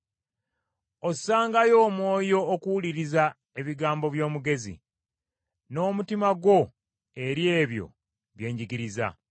Ossangayo omwoyo okuwuliriza ebigambo by’omugezi, n’omutima gwo eri ebyo bye njigiriza.